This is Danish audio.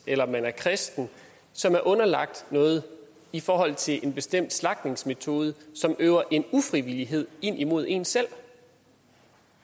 eller man er kristen som er underlagt noget i forhold til en bestemt slagtemetode som øver en ufrivillighed imod en selv